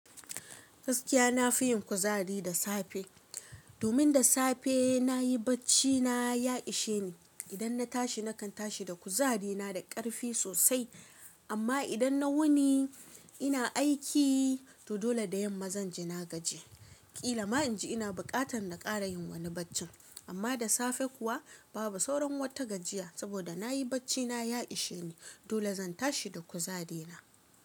Gaskiya na fi yin kuzari da safe. Domin da safe na yi bacci na, ya ishe ni. Idan na tashi nakan tashi da kuzari na da ƙarfi sosai. Amma idan na wuni ina aiki, to dole da yamma zan ji na gaji. Kila ma inji ina buƙatar na ƙara yin wani bacci. Amma da safe kuwa babu sauran wata gajiya saboda na yi bacci na ya ishe ni. Dole zan tashi da kuzari na.